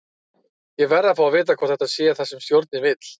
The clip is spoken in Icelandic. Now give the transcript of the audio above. Ég verð að fá að vita hvort þetta sé það sem stjórinn vill?